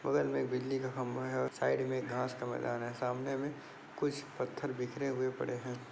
बगल में एक बिजली का खंबा है और साइड में घास का मैदान है सामने में कुछ पत्थर बिखरे हुए पड़े हैं।